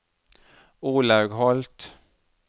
Olaug Holth